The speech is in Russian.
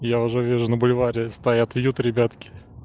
я уже вижу на бульваре стоят вьют ребятки